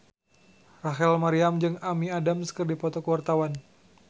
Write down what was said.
Rachel Maryam jeung Amy Adams keur dipoto ku wartawan